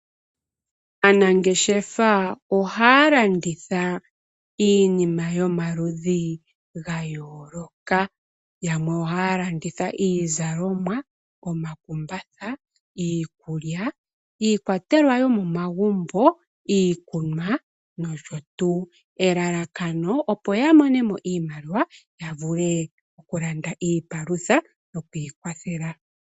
Aanangeshefa ohaya landitha iinima yomaludhi ga yooloka. Yamwe ohaya landitha iizalomwa , omakumbatha, iikulya, iikwatelwa yomomagumbo, iikunwa nosho tuu. Elalakano opo ya mone mo iimaliwa ya vule okulanda iipalutha nokwiikwathela.